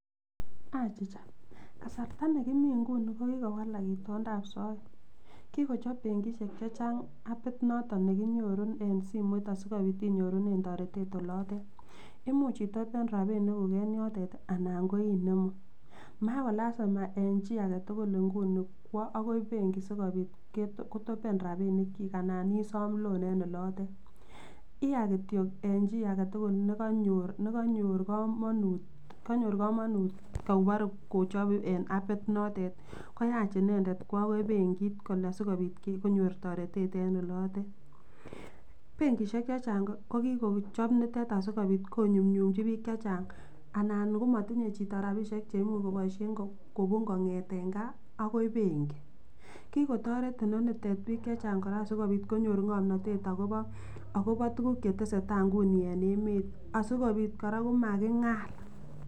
Achicha kasarta nekimi nguni ko kikowalak itondab soet kikochob benkishek chechang appit noton nekinyoru en simoit asikobit inyorunen toretet olotet, imuch itopen rabinikuk en yotet anan ko inemu, makolasima en chii aketukul kwoo akoi benki sikobit kotopen rabinik anan isom loan en olotet, iyaa kitiok en chii aketukul nekonyor komonut koboree kochob eb appit notet koyach kwoo inendet akoi benkit kole sikobit konyor toretet en olotet, benkishek chechang ko kikochop nitet asikobiit konyumnyumchi biik chechang anan ko motinye chito rabishek chechang cheimuche koboishen kobun kong'eten kaa akoi benki, kikotoret inonitet biik chechang